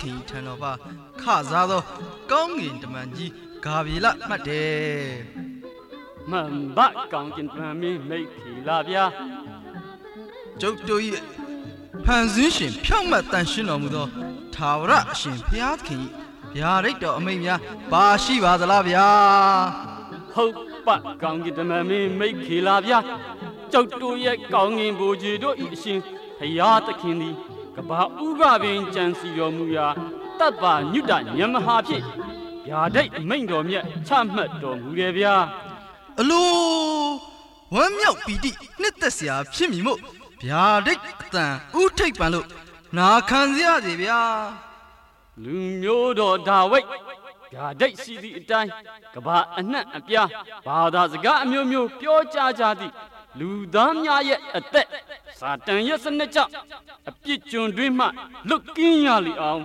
ခင်၏ ထံတော်ပါး ခစားသော ကောင်းကင်တမန်မင်း ဂါဗြေလ မှတ်တယ် မှန်ပါ့.. ကောင်းကင်တမန်မင်း မိကွေ့လျား ကျုပ်တို့၏ ဖန်ဆင်းရှင် ဖြောင့်မတ်သန့်ရှင်းတော်မူသော ထာဝရအရှင် ဘုရားသခင်၏ ဗျာဒိတ် တော်အမိန့်များ ပါရှိပါသလားဗျာ…. ဟုတ်ပါ့ ကောင်းကင်တမန်မင်းမိက္ခေလဗျာ ကျုပ်တို့ရဲ့ ကောင်းကင်ဗိုလ်ခြေတို့၏ အရှင် ဘုရားသခင်သည် ကမ္ဘာ့ဦးကပင် ကြံစည်တော်မူရာ သဗ္ဗညုတဉာဏ်မဟာဖြင့် ဗျာဒိတ်အမိန့် တော်မြတ်ချမှတ်တော်မူတယ်ဗျာ… အလို… ဝမ်းမြောက်ပီတိနှစ်သက်စရာဖြစ်မည်မို့ ဗျာဒိတ်အသံဦးထိပ်ပန်လို့ နာခံပါရ စေဗျာ ၊ လူမျိုးတော်ဒါဝိတ် ဗျာဒိတ်ရှိသည်အတိုင်း ကမ္ဘာအနှံ့အပြား ဘာသာစကား အမျိုးမျိုး ပြောကြားကြသည့် လူသားများရဲ့ အသက် စာတန်ရဲ့ စနက်ကြောင့် အပြစ်ကျွန်အတွင်းမှ လွတ်ကင်းရလေအောင်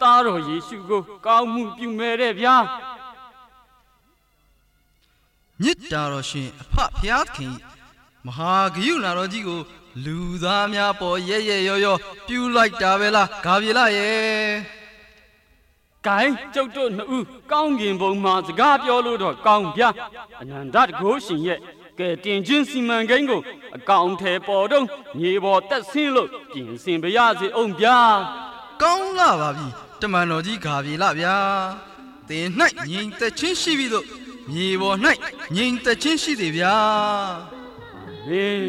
သားတော်ယေရှုကို ကောင်းမှုပြုမယ်တဲ့ဗျာ မေတ္တာတော်ရှင် အဖဘုရားသခင်၏ မဟာကရုဏာတော်ကြီးကို လူသားများပေါ် ရက်ရက်ရောရော ပြုလိုက်တာပဲလား ဂါလရယ်… ။ ကိုင်း ကျုပ်တို့နှစ်ဦး ကောင်းကင်ဘုံမှာ စကားပြောလို့ကောင်းဗျာ…. အနန္တတန်ခိုးရှင်ရဲ့ ကယ်တင်ခြင်းစီမံကိန်းကို အကောင်အထည်ဖော်တုန်း မြေပေါ် သက်ဆင်းလို့ ပြင်ဆင်ပါရစေဦးဗျာ ၊ ကောင်းလှပါပြီ တမန်တော်ကြီးဂါဗြလဗျား သင်၌ငြိမ်သက်ခြင်းရှိဘိသို့ မြေပေါ်၌ ငြိမ်သက်ခြင်း ရှိစေဗျား အာမင်…………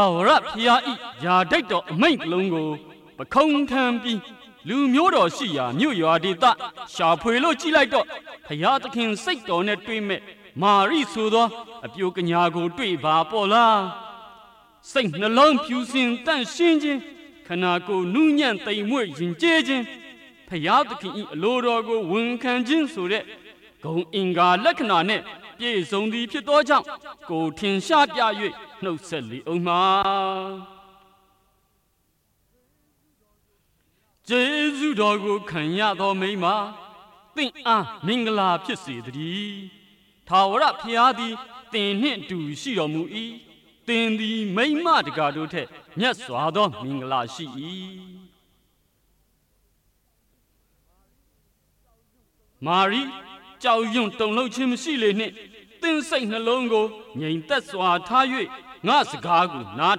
ထာဝရဘုရား၏ဗျာဒိတ်တော်အမိန့်တစ်လုံးကို ပခုံးထမ်းပြီး လူမျိုးတော်ရှိရာ မြို့ရွာဒေသ ရှာဖွေလို့ ကြည့်လိုက်တော့ ဘုရားသခင်စိတ်တော်နဲ့တွေ့မဲ့ မာရ်ဆိုသော အပျိုကညာကို တွေ့ပါပေါ့လား။ စိတ်နှလုံးဖြူစင် သန့်ရှင်းခြင်း၊ ခန္ဓာကိုယ်နူးညံ့ သိမ်မွေ့ ယဉ်ကျေးခြင်း၊ ဘုရားသခင်၏ အလိုတော်ကို ဝန်ခံခြင်းဆိုတဲ့ ဂုဏ်အင်္ဂါ လက္ခဏာနှင့် ပြည့်စုံသည် ဖြစ်သောကြောင့် ကိုယ်ထင်ရှားပြ၍ နှုတ်ဆက်လေဦးမှ။ ကျေးဇူးတော်ကိုခံရသောမိန်းမ သင့်အားမင်္ဂလာဖြစ်စေသတည်း။ ထာဝရဘုရားသည် သင်နှင့် အတူ ရှိတော်မူ၏။ သင်သည် မိန်းမတကာတို့ထက် မြတ်စွာသောမင်္ဂလာရှိ၏။ မာရိ ကြောက်ရွံ့ တုန်လှုပ်ခြင်းမရှိလေနှင့်။ သင့်စိတ်နှလုံးကို ငြိမ်သက်စွာထား၍ ငါ့စကားကို နား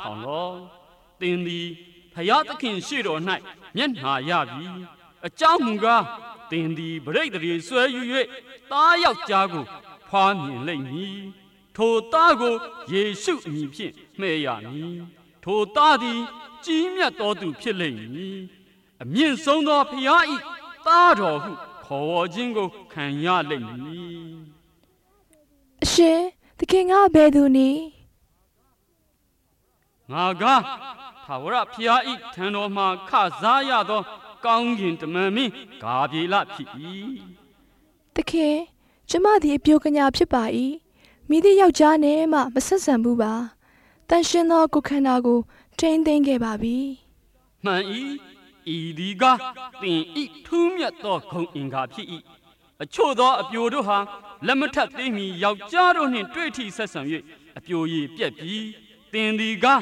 ထောင်လော့။ သင်သည် ဘုရားသခင်ရှေ့တော်၌ မျက်နှာရပြီ။ အကြောင်းမူကား သင်သည် ပဋိသန္ဓေစွဲယူ၍ သားယောက်ျားကိုဖွားမြင်လိမ့်မည်။ ထိုသားကို ယေရှုအမည်ဖြင့် မှည့်ရမည်။ ထိုသားသည် ကြီးမြတ်သောသူဖြစ်လိမ့်မည်။ အမြင့်ဆုံးသော ဘုရား၏သားတော် ဟု ခေါ်ဝေါ်ခြင်းကိုခံရလိမ့်မည်။ အရှင်.. သခင်ကအဘယ်သူနည်း။ ငါကား ထာဝရဘုရားအထံတော်မှာ ခစားရသော ကောင်းကင်တမန်မင်း ဂါဗြလ ဖြစ်၏။ သခင် ကျွန်မသည် အပျိုကညာဖြစ်ပါ၏။ မည်သည့်ယောက်ျားနဲ့မျှ မဆက်ဆံဘူးပါ။ သန့်ရှင်းသော ကိုယ်ခန္ဓာကို ထိန်းသိမ်းခဲ့ပါပြီ။ မှန်၏။ ဤသည်ကားသင်၏ ထူးမြတ်သောဂုဏ်အင်္ဂါဖြစ်၏ အချို့သော အပျိုတို့ဟာ လက်မထပ်သေးမီ ယောက်ျား တို့နှင့် တွေ့ထိဆက်ဆံ၍ အပျိုရည်ပျက်ပြီ။ သင်သည်ကား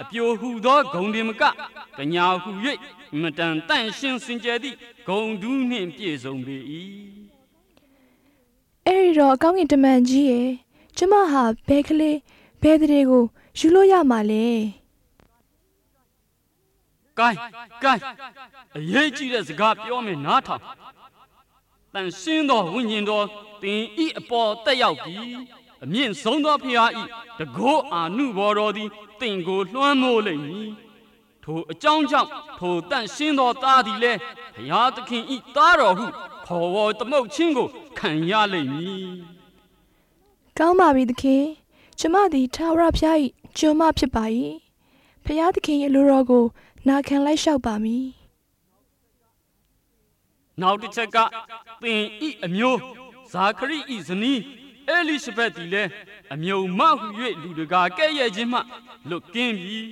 အပျိုဟူသော ဂုဏ်တင်မက ကညာဟူ၍ အင်မတန် သန့်ရှင်း စင်ကြယ် သည့် ဂုဏ်ထူးနှင့် ပြည့်စုံပေ၏။ အဲဒီတော့ ကောင်းကင်တမန်ကြီးရယ် ကျွန်မဟာ ဘယ်ကလေး ဘယ်သန္ဓေကို ယူလို့ရမလဲ။ ကိုင်း… ကိုင်း… အရေးကြီးတဲ့စကားပြောမယ် နားထောင် သန့်ရှင်းသောဝိညာဉ်တော် သင်၏အပေါ် သက်ရောက်ပြီး အမြင့်ဆုံးသောဘုရား၏ တန်ခိုး အာနုဘော်တော်သည် သင့်ကို လွှမ်းမိုးလိမ့်မည်။ ထိုအကြောင်းကြောင့် ထိုသန့်ရှင်းသော သားတော်သည်လည်း ဘုရားသခင်၏ သားတော်ဟု ခေါ်ဝေါ်သမုတ်ခြင်းကို ခံရလိမ့်မည်။ ။ ကောင်းပါပြီသခင် ကျွန်မသည် ထာဝရဘုရား၏ကျွန်မဖြစ်ပါသည်။ ဘုရားသခင် အလိုတော်ကို နာခံလိုက်လျှောက်ပါမည်။ နောက်တစ်ချက်က သင်၏အမျိုးဇာခရိ၏ဇနီး ဧလိရှဗက်သည်လည်း အမြဲမဟူ၍ လူတစ်ကာ ကဲ့ရဲ့ခြင်းမှ လွတ်ကင်း လိမ့်မည်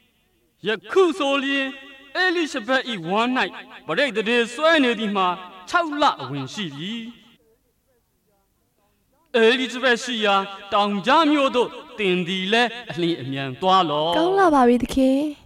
။ ယခုဆိုလျှင် ဧလိရှဗက်၏ ဝမ်း၌ ပဋိသန္ဓေ စွဲနေသည်မှာ ခြောက်လအဝင်ရှိပြီ။ ဧလိရှဗက်ရှိရာ တောင်ကြားမြို့သို့ သင်သည်လည်း အလျင်အမြန်သွားလော့။ ကောင်းလှပါပြီ သခင် ။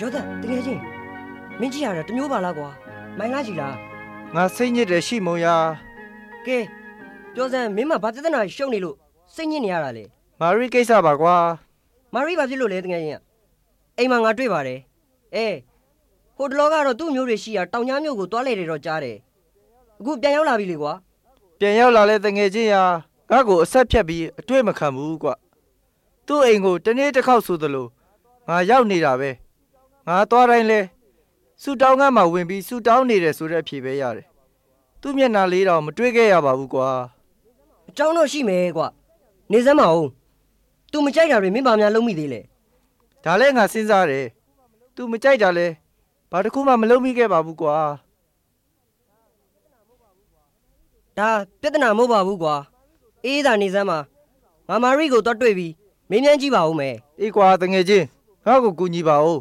ယောသပ် သူငယ်ချင်း မင်းကြည့်ရတာ တစ်မျိုးပါလားကွာ ငိုင်လှချည်လား ငါစိတ်ညစ်တယ် ရှိမုန်ရာ ကဲ ပြောစမ်း မင်းမှာ ဘာပြဿနာတွေ ရှုပ်နေလို့ စိတ်ညစ်နေရတာလဲ မာရိကိစ္စပါကွာ ၊ မာရိ ဘာဖြစ်လို့လဲ သူငယ်ချင်းရ အိမ်မှာ ငါတွေ့ပါတယ်။ အဲ… ဟိုတစ်လောကတော့ သူ့အမျိုးရှိရာ တောင်ကြားမြို့ကို သွားလည်တယ်တော့ ကြားတယ်။ အခု ပြန်ရောက်လာပြီ လေကွာ။ ပြန်ရောက်လာလည်း သူငယ်ချင်းရာ ငါ့ကို အဆက်ဖြတ်ပြီး အတွေ့မခံဘူးကွ။ သူ့အိမ်ကို တစ်နေ့တစ်ခေါက်ဆိုသလို ငါရောက်နေတာပဲ… ငါသွားတိုင်းလည်း ဆုတောင်းခန်းမှာ ဝင်ပြီး ဆုတောင်းနေတယ်ဆိုတဲ့ အဖြေပဲရတယ်… သူ့မျက်နှာ လေးတောင် မတွေ့ခဲ့ရပါဘူးကွာ…။ အကြောင်းတော့ရှိမယ်ကွ… နေစမ်းပါဦး သူမကြိုက်တာတွေ မင်းဘာများ လုပ်မိသေးလဲ… ဒါလည်း ငါစဉ်းစားတယ် သူမကြိုက်တာလည်း ဘာတစ်ခုမှ မလုပ်မိခဲ့ပါဘူးကွာ… ဒါ ပြဿနာမဟုတ်ပါဘူးကွာ.. အေးအေးသာနေစမ်းပါ… ငါမာရိကို သွားတွေ့ပြီး မေးမြန်းကြည့်ပါဦးမယ် ။ အေးကွာ သူငယ်ချင်း ငါ့ကိုကူညီပါဦး…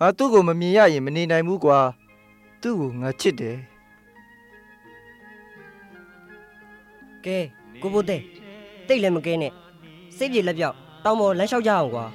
ငါသူ့ကို မမြင်ရရင် မနေနိုင်ဘူးကွာ သူ့ကို ငါချစ်တယ်။ ကဲ… ကိုဖိုးသဲ… သိပ်လည်း မကဲနဲ့ စိတ်ပြေလက်ပျောက် တောင်ပေါ်ကို လမ်းလျှောက် ကြရအောင်ကွာ…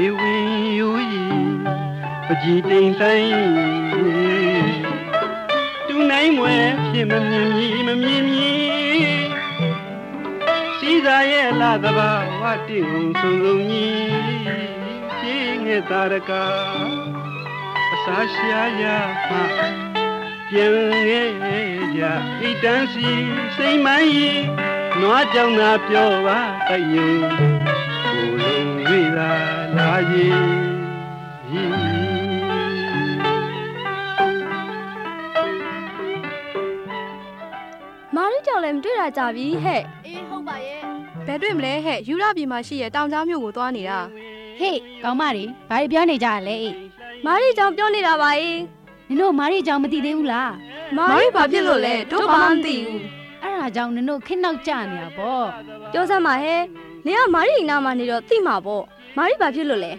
မာရိ တစ်ယောက်လည်း မတွေ့တာကြာပြီတဲ့ အေး ဟုတ်ပါရဲ့ ။ ဘယ်တွေ့ မလဲတဲ့… ယုဒပြည်မှာရှိတဲ့ တောင်ကြားမြို့ကို သွားနေတာ ဟေ့ ကောင်မတွေ ဘာတွေပြောနေကြတာလဲ ဟေ့ မာရိ အကြောင်းပြောနေတာပါအေ… နင်တို့မာရိအကြောင်း မသိသေးဘူးလား မာရိ ဘာဖြစ်လို့လည်း.. တို့ဘာမှမသိဘူး အဲဒါကြောင့် နင်တို့ခေတ်နောက်ကျနေတာပေါ့… ပြောစမ်းပါတဲ့… နင်က မာရိအနားမှာ ခနတော့ သိမှာပေါ့ မာရီ ဘာဖြစ်လို့လဲ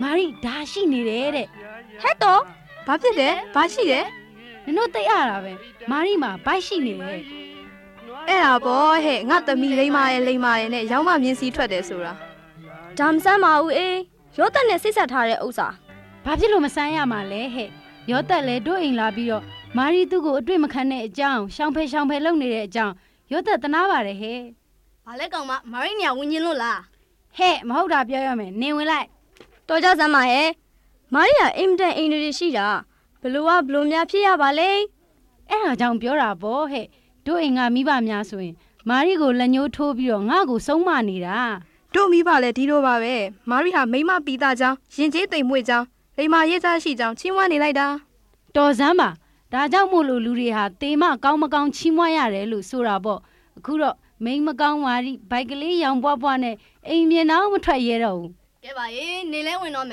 မာရိ ဒါရှိနေတယ်တဲ့။ ဟယ်တော့… ဘာဖြစ်တယ်… ဘာရှိတယ်.. နင်တို့ သိပ်အတာပဲ မာရိမှာ ဗိုက်ရှိနေတယ်… ။ အဲဒါပေါ့တဲ့.. ငါ့သမီး လိမ္မာတယ် လိမ္မာတယ်နဲ့ ယောင်းမ မြင်းစီးထွက်တယ်ဆိုတာ ဒါ မစမ်းပါဘူးအေ ယောသပ်နဲ့ စေ့စပ်ထားတဲ့ဥစ္စာ ဘာဖြစ်လို့မစမ်းရမှာလဲတဲ့ ယောသပ်လည်း တို့အိမ်လာပြီးတော့ မာရိသူ့ကို အတွေ့ မခံတဲ့ အကြောင်း ရှောင်ဖယ် ရှောင်ဖယ် လုပ်နေတဲ့အကြောင်း ယောသပ်သနားပါတယ် ဟယ် ဘာလဲ ကောင်မမာရိနေရာ ဝင်ချင်လို့လား မဟုတ်တာပြောတော့မယ် နင်ဝင်လိုက် တော်ကြစမ်းပါဟယ် မာရိက အင်မတန် အိန္ဒြေရှိတာ ဘယ်လိုက ဘယ်လိုများ ဖြစ်ရတာလိမ့် ။ အဲဒါကြောင့်ပြောတာ တို့အိမ်က မိဘများဆိုရင် မာရိကို လက်ညှိုးထိုးပြီးတော့ ငါ့ကို ဆုံးမနေတော၊ တို့မိဘလည်း ဒီလိုပါဘဲ မာရိဟာ မိန်းမပီသကြောင်း၊ ယဉ်ကျေးသိမ်မွေ့ကြောင်း၊ လိမ္မာရေးခြားရှိကြောင်း ချီးမွမ်းနေ လိုက်တာ တော်စမ်းပါ ဒါကြောင့်မို့လို့ လူတွေက သေမှ ကောင်းမကောင်း ချီးမွမ်းရတယ်လို့ ဆိုတာပေါ့ အခုတော့ မိန်းမကောင်း မာရိ ဗိုက်ကလေးယောင်ပွပွနဲ့ အိမ်ပြင်တောင် မထွက်ရဲတော့ဘူး၊ ကဲပါအေ နေလည်းဝင်တော့မ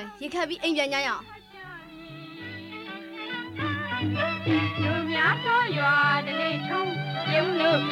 ယ် ရေခပ်ပြီး အိမ်ပြန်ကြရအောင် သော် အချစ် အချစ်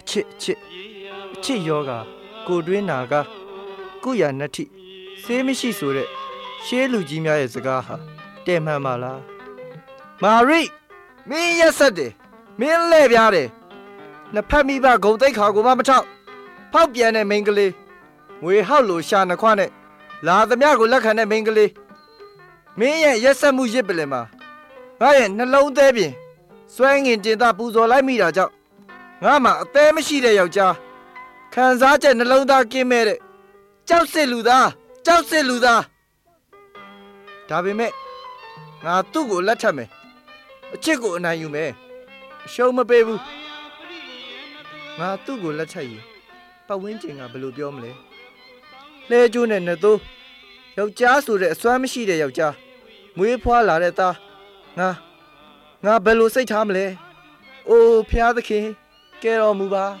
အချစ်ရောဂါ ကိုယ်တွင်းနာကား ကုရာနတ္တိဆေးမရှိဆိုတဲ့ ရှေးလူကြီးများရဲ့ စကားဟာ တယ်မှန် ပါလား မာရိ မင်းရက်စက်တယ် မင်းလှည့်ဖျားတယ် နှစ်ဘက်မိဘ ဂုဏ်သိက္ခာကိုမှ မထောက် ဖောက်ပြန်တဲ့ မိန်းကလေး မြွေဟောက်လို လျှာနှစ်ခွနဲ့ လာသမျှကို လက်ခံတဲ့ မိန်းကလေး မင်းရဲ့ ရက်စက်မှု ယဇ်ပလ္လင်မှာ ငါ့ရဲ့ နှလုံးသဲပြင် ဆွဲငင်တင်သ ပူဇော်လိုက်မိတာကြောင့် ငါ့မှာ အသဲ မရှိတဲ့ ယောက်ျား ခံစားချက်နှလုံးသား ကင်းမဲ့တဲ့ ကျောက်စစ်လူသား ကျောက်စစ် လူသား.. ဒါပေမဲ့ ငါသူ့ကိုလက်ထပ်မယ်… အချစ်ကို အနိုင်ယူမယ်… အရှုံးမပေးဘူး ငါ သူ့ကို လက်ထပ်ရင် ပတ်ဝန်းကျင်က ဘယ်လိုပြော မလဲ… လှည်းကြိုးနဲ့ နွားသိုး ယောက်ျားဆိုလည်း အစွမ်းမရှိတဲ့ယောက်ျား မွေးဖွားလာတဲ့သား ငါ.. ငါဘယ်လို စိတ်ထားမလဲ… အို ဘုရားသခင် ကယ်တော်မူပါ…။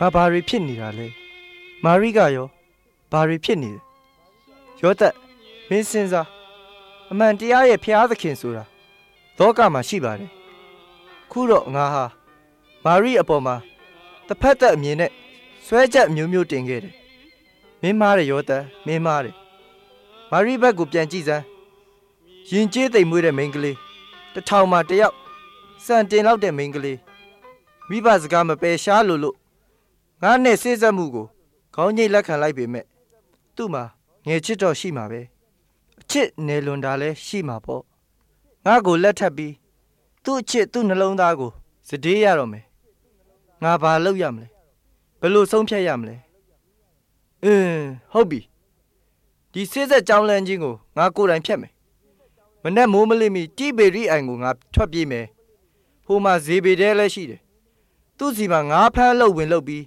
ငါဘာတွေဖြစ်နေပါလိမ့်…. မာရိကရော ဘာတွေဖြစ်နေလဲ… ယောသပ် မင်းစဉ်းစား အမှန်တရားရဲ့ ဘုရားသခင်ဆိုတာ လောကမှာ ရှိပါတယ် အခုတော့ ငါဟာ မာရိအပေါ်မှာ တစ်ဖက်သတ်အမြင်နဲ့ စွဲချက်အမျိုးမျိုးတင်ခဲ့တယ်… မင်းမှားတယ် ယောသပ် မင်းမှားတယ် မာရိဘက်ကို ပြန်ကြည့်စမ်း ယဉ်ကျေးသိမ်မွေ့တဲ့မိန်းကလေး တစ်ထောင်မှာ တစ်ယောက် စံတင်လောက်တဲ့ မိန်းကလေး မိဘစကားမပယ်ရှား လိုလို့ ငါနဲ့စေ့စပ်မှုကို ခေါင်းညိတ်လက်ခံလိုက်ပေမဲ့ သူ့မှာ ငယ်ချစ်တော့ ရှိမှာပဲ အချစ် နယ်လွန်တာလည်း ရှိမှာပေါ့…. ငါ့ကိုလက်ထပ်ပြီး သူ့ အချစ် သူ့နှလုံးသားကို စတေးရတော့မယ် ငါဘာလုပ်ရမလဲ ဘယ်လိုဆုံးဖြတ်ရမလဲ… အင်းဟုတ်ပြီ ဒီစေ့စပ်ကြောင်းလမ်းခြင်းကို ငါကိုယ်တိုင်ဖျက်မယ် မနက်မိုးမလင်းမီ တိဗေရိအိုင်ကို ငါထွက်ပြေးမယ်… ဟိုမှာလေဗေဒဲရှိတယ် သူ့ ဆီမှာ ငါးဖမ်းအလုပ် ဝင်လုပ်ပြီး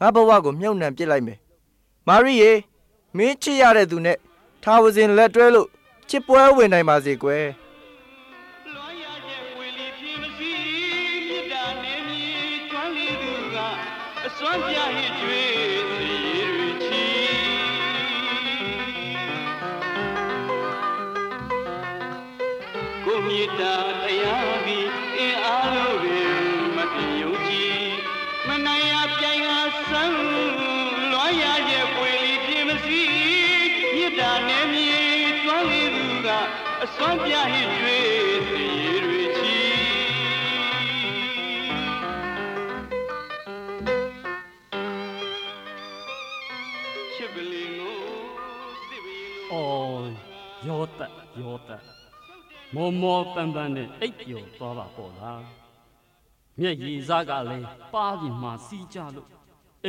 ငါ့ဘဝကို မြုပ်နှံပစ်လိုက်မယ်… မာရိရေ မင်းချစ်ရတဲ့သူနဲ့ ထာဝစဉ် လက်တွဲလို့ ချစ်ပွဲ ဝင်နိုင်ပါစေကွယ်။ သြော် ယောသပ် ယောသပ် မောမောပန်းပန်းနဲ့ အိပ်ပျော်သွားပါရော့လား မျက်ရည်စကလည်း ပါးပြင်မှာ စီးကျလို့ အ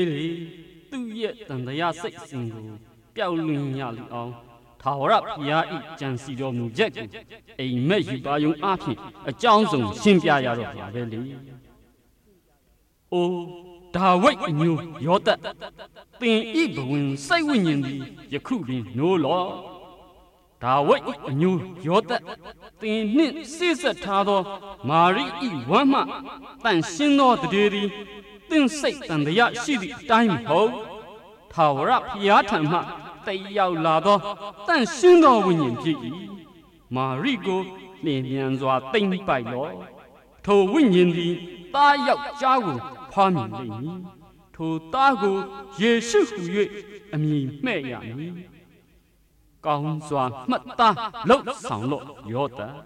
င်းလေ.. သူ့ရဲ့ သံသယ စိတ်အစဉ်ကို ပျောက်လွင့်ရလေအောင်… ထာဝရဘုရား၏ ကြံစည်တော်မူချက်ကို အိမ်မက် ရူပါရုံအားဖြင့် အကြောင်းစုံ ရှင်းပြရတော့မှာပဲလေ အို ဒါဝိတ်အမျိုးယောသပ် သင်၏ဘဝင် စိတ်ဝိညာဉ်သည် ယခုပင်နိုးတော့ ဒါဝိတ် အမျိုးယောသပ် သင်နှင့် စေ့စပ်ထားသော မာရိ၏ ဝမ်းမှ သန့်ရှင်းသော သန္ဓေသည် သင့် စိတ်သံသယ ရှိသည်အတိုင်းမဟုတ် ထာဝရဘုရားထံမှ သက်ရောက်လာသော သန့်ရှင်းသော ဝိညာဉ်ဖြစ်၏။ မာရိကို လျင်မြန်စွာ သိမ်းပိုက်လော့။ ထိုဝိညာဉ်သည် သားယောက်ျားကို ဖွားမြင်လိမ့်မည်။ ထိုသားကို ယေရှုဟူ၍ အမည်မှည့်ရမည်။ ကောင်းစွာ မှတ်သားလုပ်ဆောင်လော့ ယောသပ်… ဒါဘာလုပ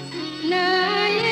်တာလ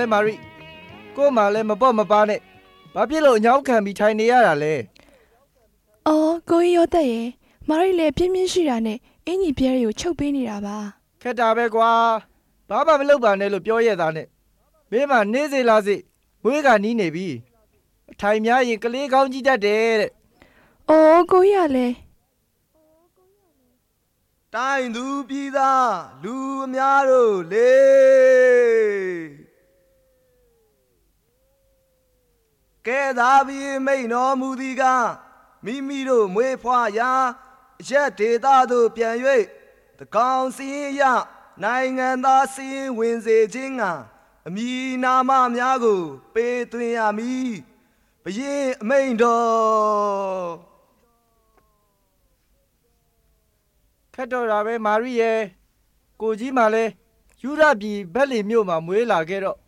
ဲ မာရိ ကိုယ့်မှာလဲ မပေါ့မပါးနဲ့ ဘာဖြစ်လို့ အညောင်းခံပြီး ထိုင်နေရတာလဲ… သော် ကိုကြီးယောသပ်ရယ်… မာရိလည်း ပျင်းပျင်းရှိတာနဲ့ အင်္ကျီအပြဲတွေကို ချုပ်ပေးနေတာပါ… ခက်တာပဲကွာ… ဘာမှမလုပ်ပါနဲ့လို့ ပြောရဲ့ သားနဲ့ မင်းမှာ နေ့စေ့လစေ မွေးကာနီးနေပြီ… အထိုင်များရင် ကလေး ခေါင်းကြီးတတ်တယ်တဲ့ ဪ… ကိုကြီးကလည်း တိုင်းသူပြည်သား လူအများတို့လေ…. ကဲသာဘုရင်မိန့်တော်မူသည်ကား မိမိတို့ မွေးဖွားရာ အရပ်ဒေသသို့ ပြန်၍ သန်းခေါင်စာရင်းအရ နိုင်ငံသားစာရင်းဝင်စေခြင်းငှာ အမည် နာမများကို ပေးသွင်းရမည် ဘုရင့်အမိန့်တော် ခက်တော့တာပဲ မာရိရယ်… ကိုကြီးမှာလည်း ယုဒပြည် ဗက်လင်မြို့မှာ မွေးလာခဲ့တော့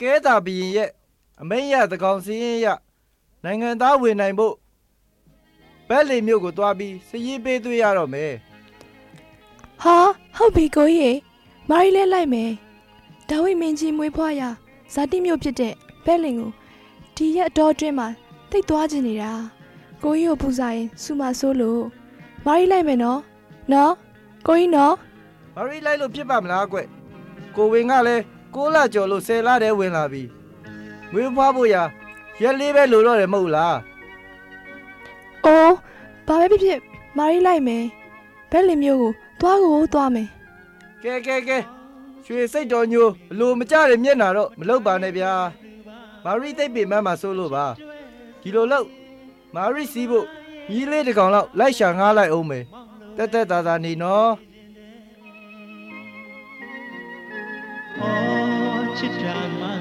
ကဲသာဘုရင်ရဲ့ အမိန့်ရ သန်းခေါင်စာရင်းအရ နိုင်ငံသား ဝင်နိုင်ဖို့ ဗက်လင်မြို့ကို သွားပြီး စာရင်းပေးသွင်းရတော့မယ်…၊ ဟာ ဟုတ်ပြီ ကိုကြီးရေ…. မာရိလည်း လိုက်မယ်… ဒါဝိတ်မင်းကြီး မွေးဖွားရာ ဇာတိမြို့ ဖြစ်တဲ့ ဗက်လင်မြို့ကို ဒီရက် အတောအတွင်း သိပ်သွားချင်နေတာ… ကိုကြီးကိုပူဆာရင် ဆူမှာစိုးလို့ မာရ်လိုက်မယ်နော်…နော် ကိုကြီးနော်… မာရိ လိုက်လို့ ဖြစ်ပါ့မလားဘွဲ့ ကိုယ်ဝန်ကလည်း ကိုးလကျော်လို့ ဆယ်လထဲဝင်လာပြီး မွေးဖွားဖို့ရာ ရက်လေးပဲ လိုတော့တယ် မဟုတ်လား ။ အို ဘာပဲဖြစ်ဖြစ် မာရ်လိုက်မယ်… ဗက်လင်မြို့ကို သွားကိုသွားမယ်…၊ ကဲကဲကဲ ရွှေစိတ်တော်ညိုအလိုမကျတဲ့ မျက်နှာတော့ မလုပ်ပါနဲ့ဗျာ မာရိ သိပ်ပင်ပန်းမှာ စိုးလို့ပါ… ဒီလိုလုပ် မာစီးဖို့ မြည်းလေးတစ်ကောင်လောက် လိုက်ရှာ ငှားလိုက်ဦးမယ် သက်သက်သာသာနေနော်… ခက်နေ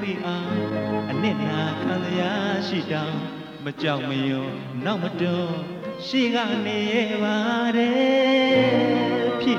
ပြီ မာရိရေ ဧည့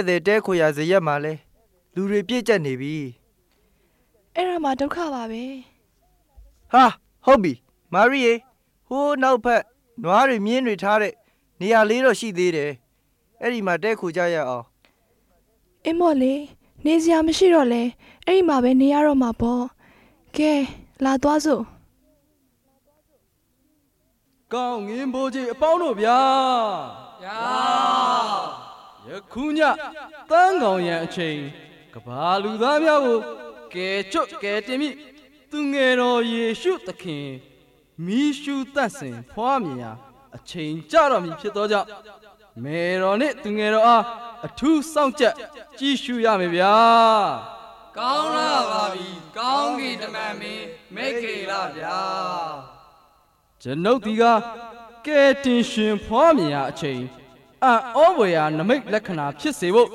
်သည် တည်းခိုရာ ဇရပ်မှာလည်း လူတွေပြည့်ကျပ်နေပြီ အဲဒါမှ ဒုက္ခပါဘဲ ၊ ဟာ ဟုတ်ပြီ… မာရိရေ နောက်ဘက်နွားတွေ မြင်းတွေထားတဲ့နေရာလေးတေး ရှိသေးတယ် အဲဒီမှာ တည်းခိုကြရအောင် ။ အင်းပေါ့လေ နေစရာမရှိတော့လည်း အဲဒီမှာပဲ နေရတော့မှာပေါ့ ကဲ လာသွားစို့ ကောင်းကင်ဗိုလ်ခြေအပေါင်းတို့ဗျာ ၊ ယနေ့ ည သန်းခေါင်ယံအချိန် ကမ္ဘာ့လူသားများကို ကယ်ချွတ်ကယ်တင် မည့် သူငယ်တော် ယေရှုသခင် မီးရှူးသန့်စင်ဖွားမြင်ရာ အချိန်ကျတော့မည် ဖြစ်ကြောင့် မယ်တော်နှင့် သူငယ်တော်အား အထူး စောင့်ကြပ် ကြည့်ရှုရမယ်ဗျာ ။ ကျွန်ုပ်သည်ကား ကယ်တင်ရှင် ဖွားမြင်ရာ အချိန် အံ့သြဖွယ်ရာ နိမိတ်လက္ခဏာ ဖြစ်စေဖို့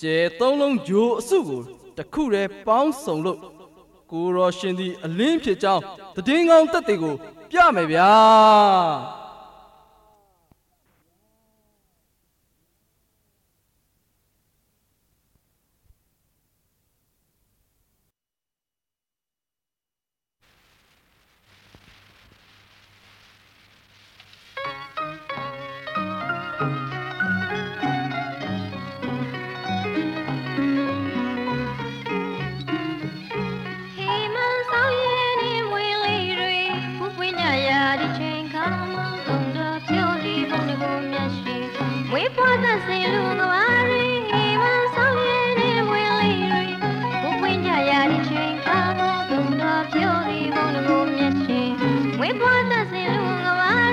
ကြယ်သုံးလုံး ဂြိုလ်အစုကို ပေါင်းစုံလို့ ကိုယ်တော်ရှင်သည် အလင်းဖြစ် ကြောင်း သတင်းကောင်း သက်သကို ပြမယ်ဗျာ။ ကိုကြီ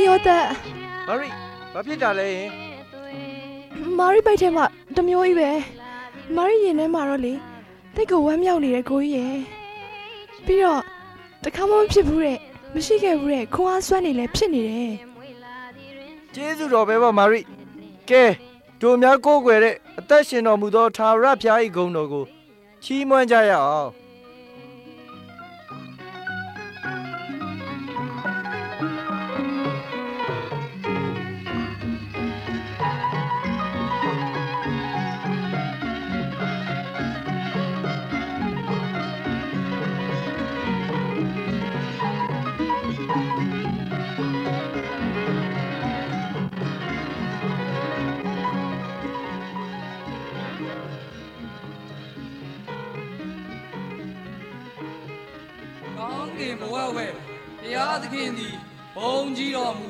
းယောသပ် မာရိ ဘာဖြစ်တာလဲဟင် မာရိ ဗိုက်ထဲမှာ တစ်မျိုးကြီးပဲ… မာရိရင်ထဲမှာတော့လေ သိပ်ကို ဝမ်းမြောက်နေတယ် ကိုကြီးရယ်… ပြီးတော့ တစ်ခါမှ မဖြစ်ဖူးတဲ့ မရှိခဲ့တဲ့ဖူးတဲ့ ခွန်အားအစွမ်းတွေလည်း ဖြစ်နေတယ်… ကျေးဇူးတော်ပဲပေါ့ မာရိရယ်.. ကဲ တို့များ ကိုးကွယ်တဲ့ အသက်ရှင်တော်မူသော ထာဝရဘုရားဂုဏ်တော်ကို ချီးမွမ်းကြရအောင်… ကောင်းကင်ဘဝဂ်ဝယ် ဘုရားသခင်သည် ဘုန်းကြီးတော်မူ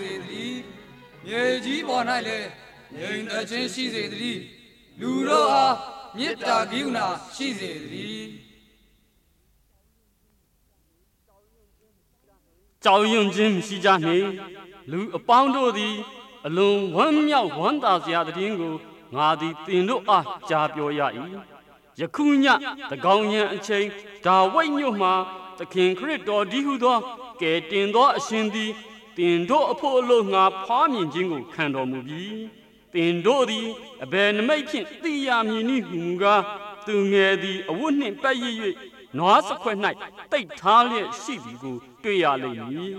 စေသတည်း မြေကြီးပေါ်၌လည်း ငြိမ်သက်ခြင်း ရှိစေသတည်း… လူတို့အား မေတ္တာကရုဏာရှိစေသတည်း။ ကြောက်ရွံ့ခြင်းမရှိကြနှင့် လူအပေါင်းတို့သည် အလွန်ဝမ်းမြောက်ဝမ်းသာစရာသတင်းကို ငါသည် သင်တို့အား ကြား ပြောရ၏။ ယခုည သန်းခေါင်ယံအချိန် ဒါဝိတ် မြို့မှာ သခင်ခရစ်တော်တည်းဟူသော ကယ်တင်သော အရှင်သည် သင်တို့အဖို့ အလို့ ငှာ ဖွားမြင်ခြင်းကို ခံတော်မူပြီး သင်တို့သည် အဘယ်နိမိတ်ဖြင့် သိရမည်နည်းဟူမူကား သူငယ်သည် အဝတ်နှင့် ပတ်ရစ်၍ နွားစားခွက်၌ သိပ်ထားလျက်ရှိသည်ကို တွေ့ရလိမ့်မည်…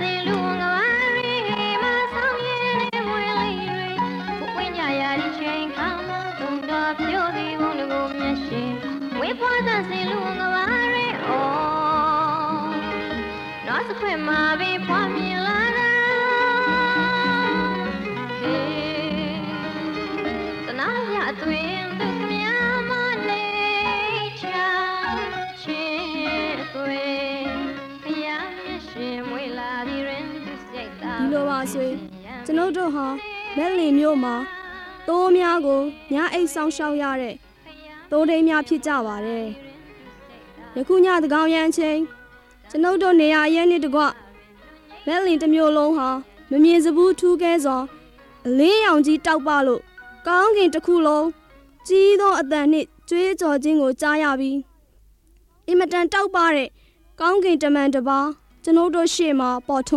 ဒီလိုပါ အဆွေ ကျွန်ုပ်တို့ဟာ ဗက်လင်မြို့မှာ မိုးများကို ညအိပ်စောင့်ရှောက်ရတဲ့ သိုးထိန်းများ ဖြစ်ကြပါတယ်… ယခုည သန်းခေါင်ယံအချိန် ကျွန်ုပ်တို့ နေရာအရပ်နှင့် တကွ ဗက်လင်တစ်မြို့လုံးဟာ မမြင်စဖူး ထူးကဲစွာ အလင်းရောင်ကြီး တောက်ပလို့ ကောင်းကင်တစ်ခုလုံး ကြီးသောအသံနှင့် ကြွေးကြော်ခြင်းကို ကြားရပြီး အင်မတန် တောက်ပတဲ့ ကောင်းကင်တမန် တစ်ပါး ကျွန်ုပ်တို့ရှေ့မှာ ပေါ်ထွ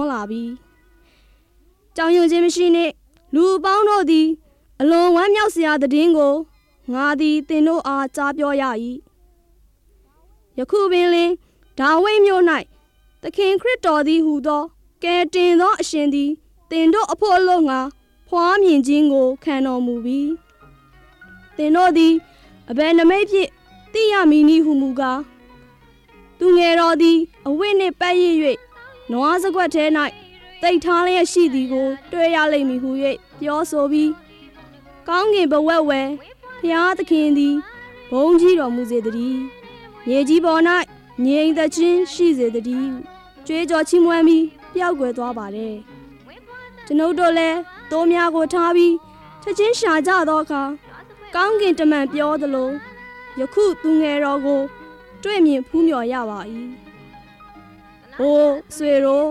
န်းလာပြီး ကြောက်ရွံ့ ခြင်းမရှိနှင့် လူအပေါင်းတို့သည် အလွန်ဝမ်းမြောက်စရာ သတင်းကို ငါသည် သင်တို့အား ကြားပြောရ၏။ ယခုပင်လျှင် ဒါဝိတ် မြို့၌ သခင်ခရစ်တော်တည်း ဟူသော ကယ်တင်သောအရှင်သည် သင်တို့အဖို့ အလို့ငှာ ဖွားမြင်ခြင်းကို ခံတော်မူပြီ သင်တို့သည် အဘယ်နိမိတ်ဖြင့် သိရမည်နည်း ဟူမူကား သူငယ်သည် အဝတ်နှင့် ပတ်ရစ်၍ နွားစားခွက်၌ သိပ်ထားလျက်ရှိသည်ကို တွေ့ရလိမ့်မည်ဟူ၍ ပြောဆိုပြီး ကောင်းကင်ဘဝဂ်ဝယ် ဘုရားသခင်သည် ဘုန်းကြီးတော် မူစေသတည်း… မြေကြီး ပေါ်၌လည်း ငြိမ်သက်ခြင်းရှိစေသတည်း ကြွေးကြော်ချီးမွမ်းပြီး ပျောက်ကွယ်သွား ပါတယ်.. ကျွန်ုပ်တို့ လည်း သိုးများကို ထားပြီး ချက်ချင်းရှာကြသောအခါ ကောင်းကင် တမန်ပြောသလို ယခုသူငယ်တော်ကို တွေ့မြင်ဖူးမျှော်ရပါ၏။ အို အဆွေတို့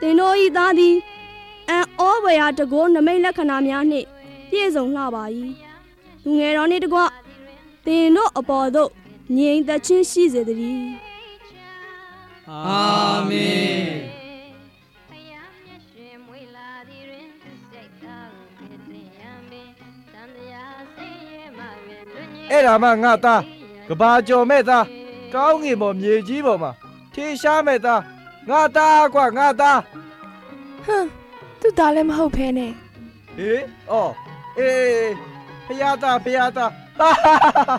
သင်တို့ ၊ ၏ သားသည် အံ့သြဖွယ်ရာ တန်ခိုး နိမိတ်လက္ခဏာများနှင့် ပြည့်စုံလှပါ၏ သူငယ်တော်နှင့်တကွ သင်တို့ အပေါ်သို့ ငြိမ်သက်ခြင်း ရှိစေသတည်း… အာမင်.. အဲဒါမှ ငါ့သား ကမ္ဘာကျော်မဲ့သား ကောင်းကင်ပေါ် မြေကြီးပေါ်မှာ ထင်ရှားမယ့်သား ငါ့သားကွ ငါ့သား ၊ ဟင် သူ့သားလည်း မဟုတ်ပဲနဲ့…၊ ဟေ သြော် အေးအေး ဘုရားသား ဘုရားသား ဟား ဟား ဟား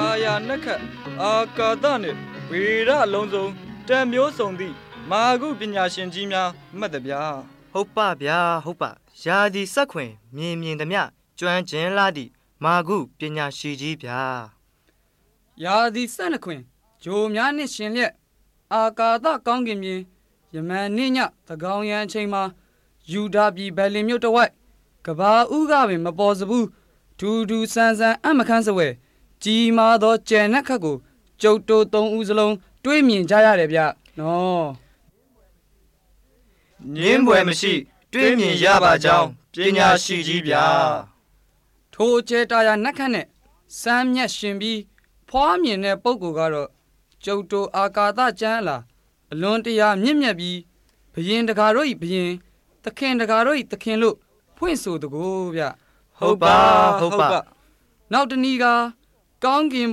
တာရာနက္ခတ် အာကာသနှင့် ဗေဒလုံးစုံတတ်မျိုးစုံသည့် မာကု ပညာရှင်ကြီးများ မှတ်သဗျာ ၊ ဟုတ်ပါ့ဗျာ ဟုတ်ပ ရာသီစက်ခွင် မြင်မြင်သမျှ ကျွမ်းကျင်လှသည့် မာကုပညာရှင်ကြီးဗျာ ရာသီဆယ့်နှစ်တွင် ဂြိုလ်များနှင့် ယှဉ်လျက် အာကာသကောင်းကင်ပြင် ယမန်နေ့ည သန်းခေါင်ယံအချိန်မှာ ယုဒပြည် ဗက်လင်မြို့ တစ်ဝိုက် ကမ္ဘာ့ဦးကပင် မပေါ်စဖူး ထူးထူးဆန်းဆန်း အံ့မခန်းစဖွယ် ကြီးမားသော ကြယ်နက္ခတ်ကို ကျုပ်တို့ သုံးဦး စလုံး တွေ့မြင်ကြရတယ်ဗျနော် ။ ငြင်းဖွယ်မရှိတွေ့မြင်ရပါကြောင်း ပညာရှိကြီးဗျာ ထိုကြယ်တာရာ နက္ခတ်နှင့် စန်းမြတ်ယှဉ်ပြီး ဖွားမြင်တဲ့ ပုဂ္ဂိုလ်ကတော့ ကျုပ်တို့ အာကာသ ကျမ်းအလာ အလွန်တရာ မြင့်မြတ်ပြီး ဘုရင်တစ်ကာတို့၏ ဘုရင် သခင် တစ်ကာတို့၏ သခင် ဖွင့်ဆိုသကိုးဗျ ဟုတ်ပါ့ ဟုတ်ပါ့ နောက်တစ်နည်းကား ကောင်းကင်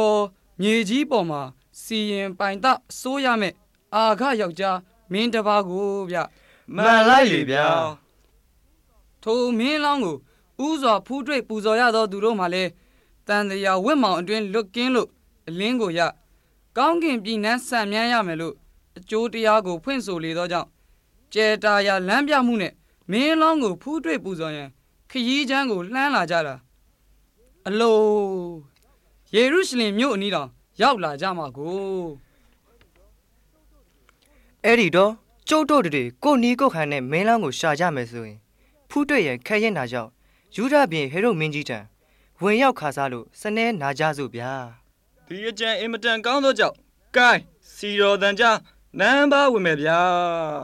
ပေါ် မြေကြီးပေါ်မှာ စီရင်ပိုင်သ အစိုးရမဲ့ အာဂယောက်ျား မင်းတစ်ပါးကိုးဗျ… မှန်လိုက်လေ ထိုမင်းလောင်းကို ဦးစွာ ဖူးတွေ့ပူဇော်ရသောသူတို့မှာလည်း သံသရာဝဋ် မှောင်အတွင်း လွတ်ကင်းလို့ အလင်းကိုရ ကောင်းကင်ပြည်နန်း စံမြန်းရမယ်လို့ အကျိုး တရားကို ဖွင့်ဆိုလေသောကြောင့် ကြယ်တာရာ လမ်းပြမှုနှင့် မင်းလောင်းကို ဖူးတွေ့ ပူဇော်ရန် ခရီးကြမ်းကိုလှမ်းလာကြတာ အလို… ယေရုရှလင်မြို့အနီးတောင် ရောက်လာကြမှကိုး… အဲဒီတော့ ကျုပ်တို့တစ်တွေ ကိုယ့်နည်းကိုယ်ဟန်နဲ့ မင်းလောင်းကို ရှာကြမယ်ဆို ဖူးတွေ့ရန်ခဲယဉ်းတာကြောင့် ယုဒပြည် ဟေရုဒ်မင်းကြီးထံ ဝင်ရောက်ခစားလို့ စနည်းနာကြစို့ဗျာ… ဒီအကြံ အင်မတန်ကောင်းသောကြောင့် ကိုင်း စည်တော်သံကြား နန်းအပါး ဝင်မယ်ဗျား…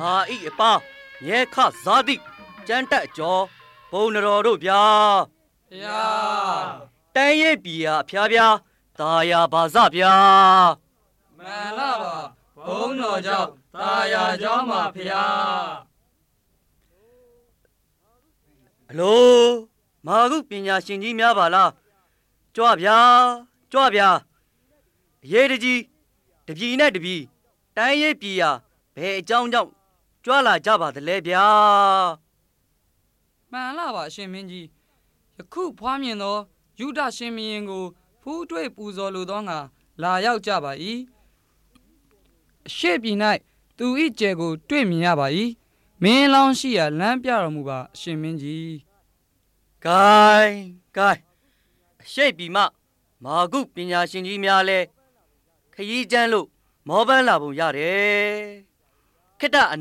ငါ၏အပါး အမြဲခစားသည့် ကျမ်းတတ်အကျော် ပုဏ္ဏားတော်တို့ဗျာ ဘုရား တိုင်းရေးပြည်ရာ အဖြာဖြာ သာယာပါစဗျာ မှန်လှပါ ဘုန်းတော်ကြောင့် သာယာလှကြောင်းပါဘုရား အလို မာကုပညာရှင်ကြီးများပါလား… ကြွာ ကြွဗျာ အရေးတစ်ကြီး ၊ တစ်ပြည်နဲ့တစ်ပြည် တိုင်းရေးပြည်ရာ ဘယ်အကြောင်းကြောင့် ကြွလာရပါသလဲဗျာ မှန်လှပါ အရှင်မင်းကြီး ယခုဖွားမြင်သော ယုဒရှင်ဘုရင်ကို ဖူးတွေ့ ပူဇော်လိုသောငှာ လာရောက်ကြပါ၏။ အရှေ့ပြည်၌ သူ၏ ကြယ်ကို တွေ့မြင်ရပါ၏။ မင်းလောင်းရှိရာ လမ်းပြတော်မူပါ အရှင်မင်းကြီး… ကိုင်း ကိုင်း အရှေ့ပြည်မှ မာကုပညာရှင်ကြီးများလည်း ခရီးကြမ်းလို့ မောပန်းလာ ပုံရတယ် ခေတ္တ အ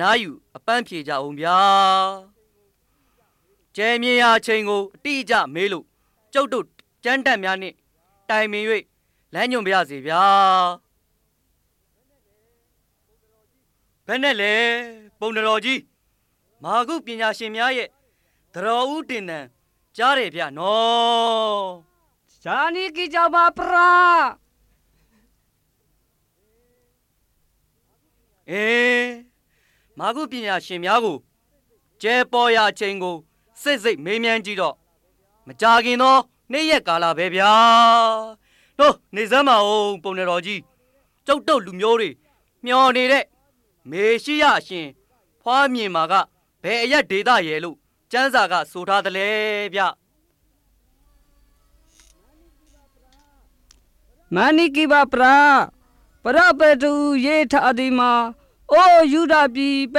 နားယူ အပန်းဖြေ ကြဦးဗျာ ကြယ်မြင်ရာအချိန်ကို အတိအကျ မေးလို့ ကျုပ်တို့ ကျမ်းတတ်များနှင့် တိုင်ပင်၍ လမ်းညွှန်ပါရစေဗျာ ဘယ်နှယ့်လဲ ပုဏ္ဏားတော်ကြီး မာကုပညာရှင်ရဲ့ သံတော်ဦးတင်သံကြားတယ်နော်… ကြားနီးကီးကြောင်းပါဖရား ၊ အေး မာကုပညာရှင်များကို ကြယ်ပေါ်ရာအချိန်ကို စေ့စေ့မေးမြန်းကြည့်တော့ မကြာခင်သော နေ့ရက်ကာလပဲဗျ အိုး နေစမ်းပါဦး ပုဏ္ဏားတော်ကြီး ကျုပ်တို့ လူမျိုးတွေ ပျော်နေတဲ့ မေရှိယ အရှင် ဖွားမြင်ပါက ဘယ်အရပ် ဒေသရယ်လို့ ကျမ်းစာက ဆိုထားသလဲဗျ မှန်နီးကီးပါဖရား ပရပဲတု (ပရပိုက်တွင် ရေးထားသည်မှာ ကို ယုဒပြည် ဗ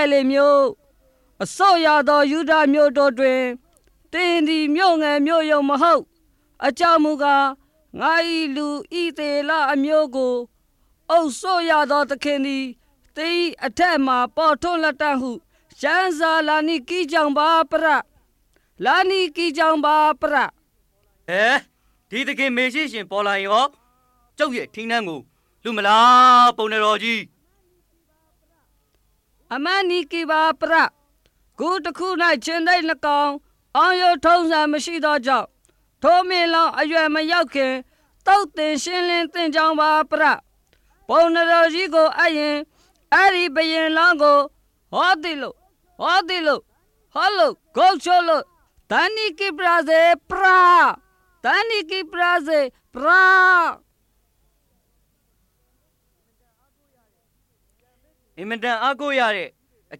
က်လင်မြို့ အစိုးရသော ယုဒမျိုး တို့တွင် သင်သည် မြို့ငယ် မြို့ယုတ်မဟုတ် အကြောင်းမူကား ငါ၏ လူ ဣသရေလ အမျိုးကို အုပ်စိုးရသော သခင်သည် သင်၏အထက်မှာ ပေါ်ထွန်းလာလတ္တံ့ဟု ကျမ်းစာ လာနီးကီးကြောင်းပါဖရား လာနီးကြီးကြောင်းပါ ဖရား ဟယ် ဒီသခင် မေရှိအရှင် ပေါ်လာရင်တော့ ကျုပ်ရဲ့ ထီးနန်းကို လုမလား ပုဏ္ဏားတော်ကြီး အမှန်နီးကီးပါဖရား… ဂူတစ်ဂူထဲမှာ ခြင်္သေ့နှစ်ကောင် အောင်းရိုးထုံးစံမရှိသောကြောင့် ထိုမင်းလောင်း အရွယ်မရောက် ခင် သုတ်သင်ရှင်းလင်း သင့်ကြောင်းပါဖရား ပုဏ္ဏားတော်ကြီးကို အပ်ရင် အဲဒီဘုရင်လောင်းကို ဟောဒီလို ဟာဒီလို ဟာလို ဂုတ်ချိုးလို့ သတ်နိုးကိုးပါရစေဖရာ့ သတ်နိုးကိုးပါရစေဖရား… အင်မတန်အားကိုးရတဲ့ အ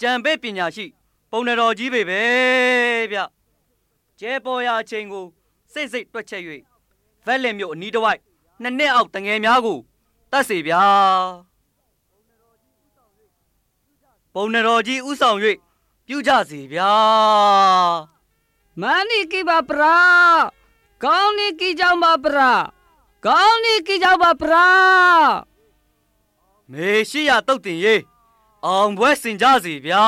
ကြံပေးပညာရှိ ပုဏ္ဏားတော်ကြီးပေပဲဗျ… ကြယ်ပေါ်ရာ အချိန်ကို စေ့စေ့တွက်ချက်၍ ဗက်လင်မြို့အနီးတစ်ဝိုက် နှစ် နှစ်အောက် သူငယ်များကို သတ်စေဗျား ပုဏ္ဏားတော်ကြီးဦးဆောင်၍ ပြုကြစေဗျား… မှန်နီးကီးပါဖရာ့ ကောင်းနီးကြီးကြောင်းပါဖရာ့ ကောင်းနီးကြီးကြောင်းပါဖရာ့.. မေရှိယသုတ်သင်ရေး အောင်ပွဲဆင်ကြစေဗျာ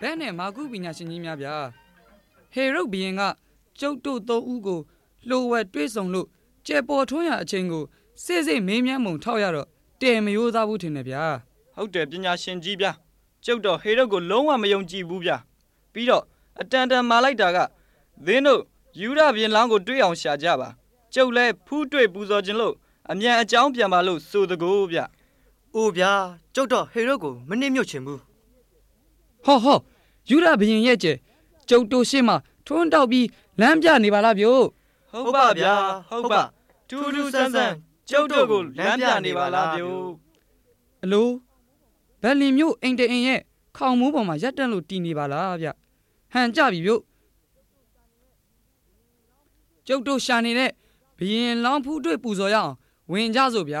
း ဘယ်နှယ့် မာကုပညာရှင်ကြီးများခများ ဟေရုဒ်ဘုရင်က ကျုပ်တို့ သုံးဦးကို လျှို့ဝှက်တွေ့ ဆုံလို့ ကြယ်ပေါ်ထွန်းရာ အချိန်ကို စေ့စေ့ မေးမြန်းပုံ ထောက်ရတော့ တယ် မရိုးသားဘူးထင်တယ်ဗျာ…..။ ဟုတ်တယ် ပညာရှင်ကြီးများ ကျုပ်တော့ ဟေရုဒ်ကို လုံးဝ မယုံကြည်ဘူးဗျာ ပြီးတော့ အတန်တန် မှာလိုက်တာက မင်းတို့ ယုဒပြည် ဘုရင်လောင်းကို တွေ့အောင် ရှာကြပါ ကျုပ်လည်း ဖူးတွေ့ ပူဇော်ချင်လို့ အမြန်အကြောင်းပြန်ပါလို့ ဆိုသကိုးဗျ…၊ အို ဗျာ ကျုပ်တော့ ဟေရုဒ်ကို မနှစ်မြို့ ချင်ဘူး ဟောဟော ယုဒရှင်ဘုရင်ရဲ့ကြယ် ကျုပ်တို့ရှေ့မှာ ထွန်းတောက်ပြီး လမ်းပြနေပါလားဗျို့ ဟုတ်ပါ့ဗျာ ဟုတ်ပါ့ ထူးထူးဆန်းဆန်း ကျုပ်တို့ကို လမ်းပြနေပါလားဗျိုး အလို ဗက်လင်မြို့ အိမ်တအိမ်ရဲ့ ခေါင်မိုးပေါ်မှာ ရပ်တန့်လို့ တည်နေပါလား ဟန်ကျပြီဗျို့ ကျုပ်တို့ရှာနေတဲ့ ဘုရင်လောင်း ဖူးတွေ့ပူဇော်ရအောင် ဝင်ကြစို့ဗျ